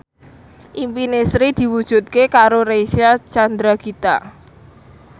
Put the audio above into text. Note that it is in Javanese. impine Sri diwujudke karo Reysa Chandragitta